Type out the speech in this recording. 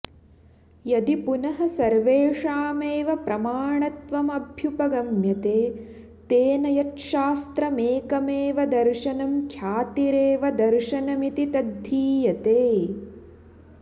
यदि पुनः सर्वेषामेव प्रमाणत्वमभ्युपगम्यते तेन यच्छास्त्रमेकमेव दर्शनं ख्यातिरेव दर्शनमिति तद्धीयते